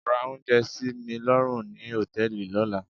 Ra oúnjẹ sí mi lọ́rùn ni hòtẹ́ẹ̀lì lọ́la.